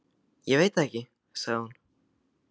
Ég veit það ekki sagði hún.